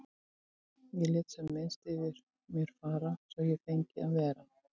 Ég lét sem minnst fyrir mér fara svo að ég fengi að vera.